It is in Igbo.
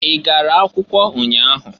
I gara akwụkwọ ụnya ahụ?